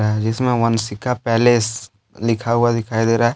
अ जिसमें वंशिका पैलेस लिखा हुआ दिखाई दे रहा है।